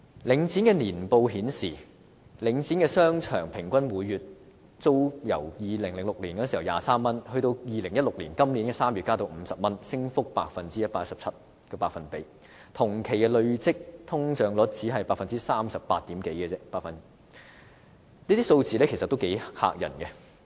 領展的年報顯示，領展商場平均每月呎租由2006年的23元，到今年2016年3月增至50元，升幅是 117%， 而同期累積通脹率只是百分之三十八點多，這些數字頗為駭人。